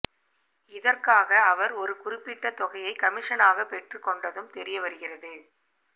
இதற்காக அவர் ஒரு குறிப்பிட்ட தொகையை கமிஷனாக பெற்றுக் கொண்டதும் தெரிய வருகிறது